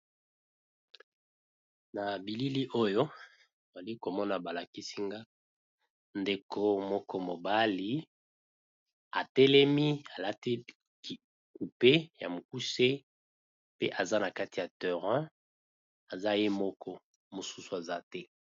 na bilili oyo ali komona balakisinga ndeko moko mobali atelemi alati kupe ya mokuse pe aza na kati ya terin aza ye moko mosusu aza te